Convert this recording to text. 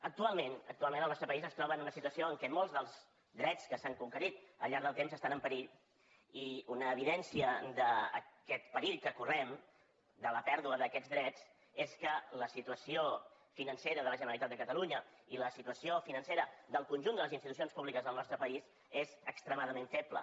actualment el nostre país es troba en una situació en què molts dels drets que s’han conquerit al llarg del temps estan en perill i una evidència d’aquest perill que correm de la pèrdua d’aquests drets és que la situació financera de la generalitat de catalunya i la situació financera del conjunt de les institucions públiques del nostre país són extremadament febles